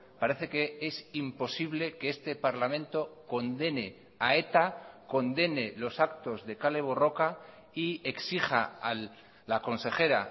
parece que es imposible que este parlamento condene a eta condene los actos de kale borroka y exija a la consejera